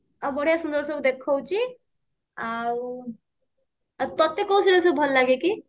ବଢିଆ ସୁନ୍ଦର ସବୁ ଦେଖଉଛି ଆଉ ତତେ କଉ ସିରିୟାଲ ସବୁ ଭଲ ଲାଗେ କି